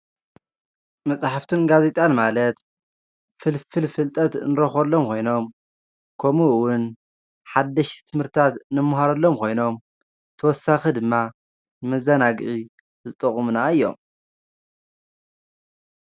መፅሓፍትን ጋዜጣን ማለት ፍልፍል ፍልጠት እንረኽበሎም ኮይኖም ከምኡ እውን ሓደሽቲ ትምህርትታት እንመሃረሎም ኮይኖም ተወሳኺ ድማ መዘናግዒ ዝጠቅሙና እዮም።